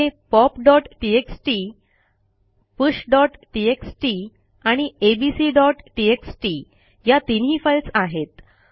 येथे popटीएक्सटी pushटीएक्सटी आणि abcटीएक्सटी या तीनही फाईल्स आहेत